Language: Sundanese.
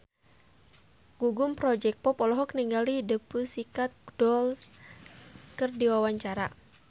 Gugum Project Pop olohok ningali The Pussycat Dolls keur diwawancara